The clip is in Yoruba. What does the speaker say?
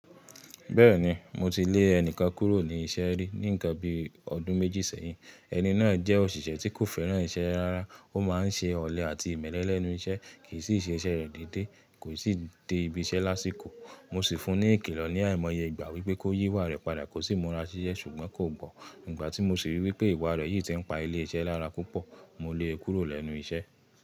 Bẹ́ẹ̀ni, mo ti lè ẹnìkan kúrò ní iṣẹ́ rí ní ǹkan bí ọdún méjì sẹ́yìn. Ẹni náà jẹ́ òṣìṣẹ́ tí kò fẹ́ràn iṣẹ́ rárá, ó má n ṣe ọ̀lẹ àti ìmẹ́lẹ́ lẹ́nu iṣẹ́, kì í sì ṣe iṣẹ́ rẹ̀ dédé, kò i sì de ibi iṣẹ́ lásìkò. Mo sì fún un ní ìkìlọ̀ ní àìmọye ìgbà wípé kó yí ìwà rẹ̀ padà, kó sì múra sí iṣẹ́ ṣùgbọ́n kò gbọ́. Nígbà tí mo sì rí wípé ìwà rẹ̀ yìí ti ń pa ilé iṣẹ́ lára púpọ̀, mo lé e kúrò lẹ́nu iṣẹ́.